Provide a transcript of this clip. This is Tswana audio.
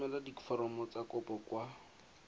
romela diforomo tsa kopo kwa